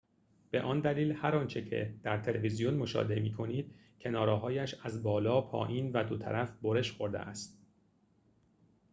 به آن دلیل هر آنچه در تلویزیون مشاهده می‌کنید کناره‌هایش از بالا پایین و دو طرف برش خورده است